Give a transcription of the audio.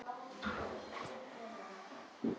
Nei- sagði Valdimar og leit yfir hvítan garðinn.